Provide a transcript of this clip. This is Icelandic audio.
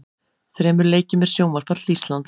Þremur leikjum er sjónvarpað til Íslands.